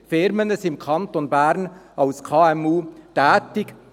Rund 70 000 KMU sind im Kanton Bern tätig.